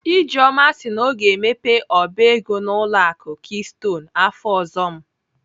Ijeoma si na ọ ga-emepe ọba ego n'ụlọ akụ keystone afọ ọzọ m